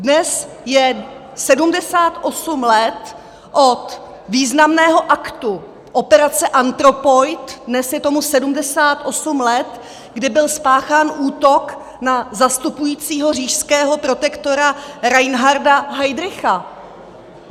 Dnes je 78 let od významného aktu, operace Anthropoid, dnes je tomu 78 let, kdy byl spáchán útok na zastupujícího říšského protektora Reinharda Heydricha.